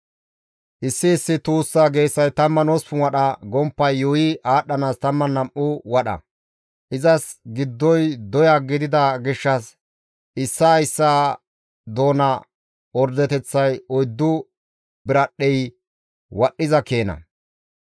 Issi issi tuussa geesay 18 wadha, gomppay yuuyi aadhdhanaas 12 wadha; izas giddoy doya gidida gishshas issaa issaa doona ordeteththay oyddu biradhdhey wodhdhiza keena.